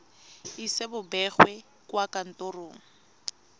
ise bo begwe kwa kantorong